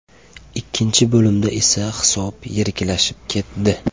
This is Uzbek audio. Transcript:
Ikkinchi bo‘limda esa hisob yiriklashib ketdi.